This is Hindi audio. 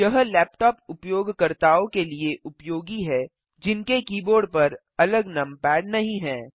यह लैपटॉप उपयोगकर्ताओं के लिए उपयोगी है जिनके कीबोर्ड पर अलग नमपैड नहीं हैं